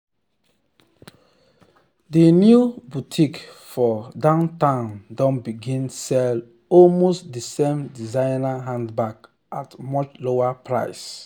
di new boutique for downtown don begin sell almost d same designer handbags at much lower price.